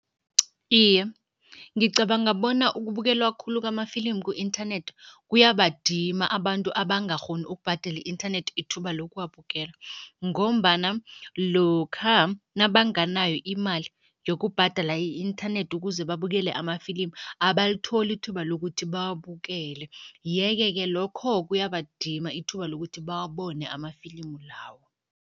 Iye, ngicabanga bona ukubukelwa khulu kwamafilimu ku-inthanethi kuyabadima abantu abangakghoni ukubhadela i-inthanethi ithuba lokuwabukela ngombana lokha nabanganayo imali yokubhadala i-inthanethi ukuze babukele amafilimu, abalitholi ithuba lokuthi bawabukele yeke-ke lokho kuyabadima ithuba lokuthi bawabone amafilimu lawo.